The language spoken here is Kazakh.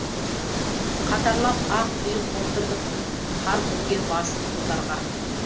қатарлап ақ үй қондырдық қар көмген басын құздарға